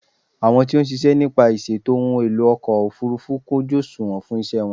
Àwọn tí ó ń ṣiṣẹ́ nípa ìṣètò ohun èlò ọkọ̀ òfúrúfú kún ojú òsùnwọ̀n fún ìṣe wọn.